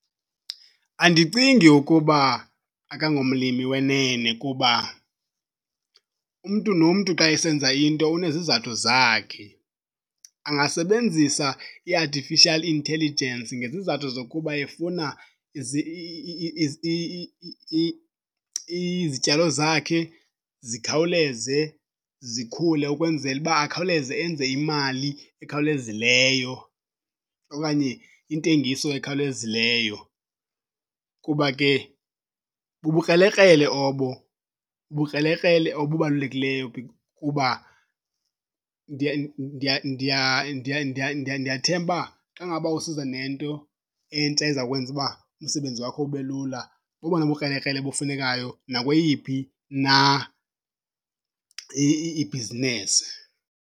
Andicingi ukuba akangomlimi wenene kuba umntu nomntu xa esenza into unezizathu zakhe. Angasebenzisa i-artificial intelligence ngezizathu zokuba efuna izityalo zakhe zikhawuleze zikhule ukwenzela uba akhawuleze enze imali ekhawulezileyo okanye intengiso ekhawulezileyo kuba ke bubukrelekrele obo. Bubukrelekrele obubalulekileyo kuba ndiyathemba uba xa ngaba usiza nento entsha ezawukwenza uba umsebenzi wakho ube lula bobona bukrelekrele bufunekayo nakweyiphi na ibhizinesi.